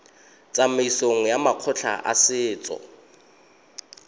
tsamaisong ya makgotla a setso